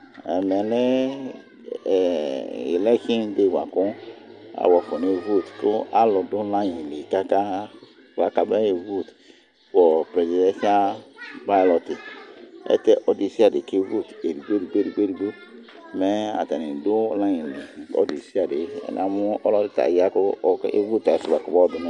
Ɛmɛ lɛ ilɛksin dei boa kʋ alʋ afɔnaɣa evotʋ kʋ alʋ dʋ layi li kaka kabɛ e votʋ prɛsidɛsia balɔti Ayɛlʋtɛ ɔlʋ desiade kevotʋ edigbo edigbo edigbo edigbo mɛ atani dʋ layi li, ɔlʋ desiade Namʋ ɔlɔdi ta ɔya kʋ evotʋ ayisʋ boa kɔbayɔdʋ